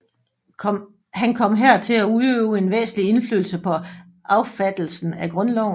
Han kom her til at udøve en væsentlig indflydelse på affattelsen af Grundloven